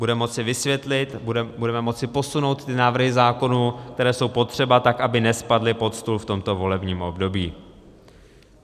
Bude moci vysvětlit, budeme moci posunout návrhy zákonů, které jsou potřeba, tak, aby nespadly pod stůl v tomto volebním období.